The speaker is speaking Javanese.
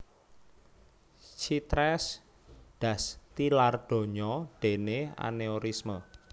Chitresh Das tilar donya déné anéurisme